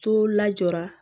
To la jɔra